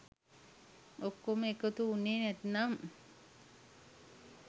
ඔක්කොම එකතු උනේ නැත්නම්